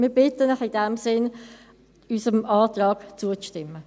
– Wir bitten Sie in diesem Sinne, unserem Antrag zuzustimmen.